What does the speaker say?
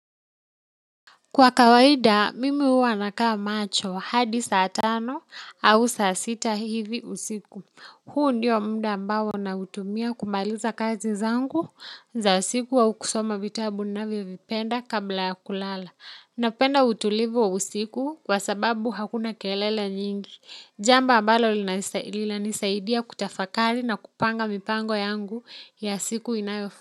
Kwa kawaida, mimi huwa nakaa macho hadi saa tano au saa sita hivi usiku. Kwa kawaida, mimi huwa nakaa macho hadi saa tano au saa sita hivi usiku. Napenda utulivu wa usiku kwa sababu hakuna kelele nyingi jambo ambalo lina nisaidia kutafakari na kupanga mipango yangu ya siku inayofu.